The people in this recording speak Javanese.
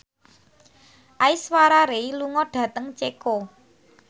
Aishwarya Rai lunga dhateng Ceko